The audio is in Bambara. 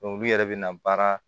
olu yɛrɛ bɛ na baara